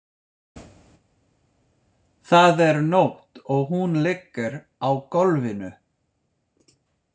Það er nótt og hún liggur á gólfinu.